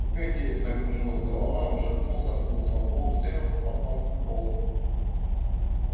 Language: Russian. у пети закружилась голова он шатнулся ткнулся лбом в стену потом в пол